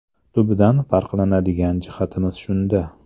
Tubdan farqlanadigan jihatimiz shunda”.